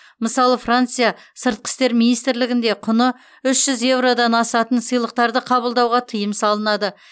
мысалы франция сыртқы істер министрлігінде құны үш жүз еуродан асатын сыйлықтарды қабылдауға тыйым салынады